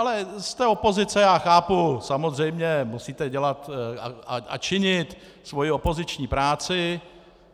Ale jste opozice, já chápu, samozřejmě musíte dělat a činit svoji opoziční práci.